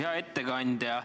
Hea ettekandja!